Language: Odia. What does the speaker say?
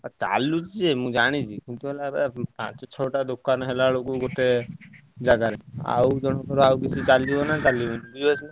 ଆଉ ଚଳୁଛି ଯେ ମୁଁ ଜାଣିଛି କିନ୍ତୁ ହେଲା ପାଞ୍ଚ ଛଅ ଟା ଦୋକାନ ହେଲାବେଳକୁ କେତେ ଗୋଟେ ଜାଗାରେ ଆଉଜଣକର ଆଉକିଛି ଚାଲିବ ନା ଚାଲିବନି ।